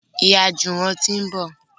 Ìyá Juwon tí ń bọ.